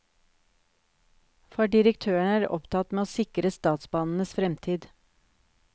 For direktøren er opptatt med å sikre statsbanenes fremtid.